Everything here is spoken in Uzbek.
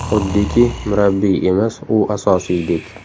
Xuddiki, murabbiy emas, u asosiydek.